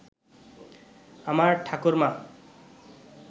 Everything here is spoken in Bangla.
আমার ঠাকুরমা